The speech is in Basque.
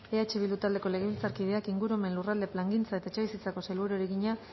eh bildu taldeko legebiltzarkideak ingurumen lurralde plangintza eta etxebizitzako sailburuari egina